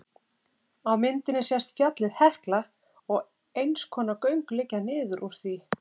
á myndinni sést fjallið hekla og eins konar göng liggja niður úr því